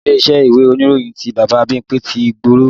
Ilé-iṣẹ́ ìwé ìròyìn ti Bàbá Bímpé ti gbòòrò